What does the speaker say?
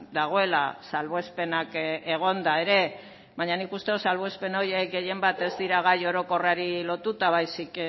dagoela salbuespenak egonda ere baina nik uste dut salbuespen horiek gehien bat ez dira gai orokorrari lotuta baizik